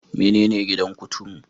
Menene gidan kuturu?